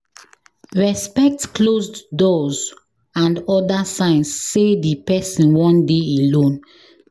Respect closed doors and oda signs sey di person wan dey alone